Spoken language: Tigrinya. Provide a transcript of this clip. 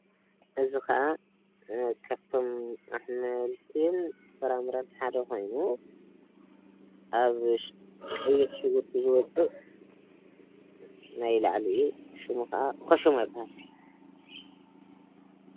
እዚ ከዓ ካብቶም ኣሕምልትን ፍራምረን ሓደ ኮይኑ ኣብ ውሽጢ ቀይሕ ሽጉርቲ ዝወፅእ ናይ ላዕሊኡ ሽሙ ክዓ ኮልሸማ ይባሃል፡፡